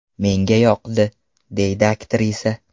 Menga yoqdi”, deydi aktrisa.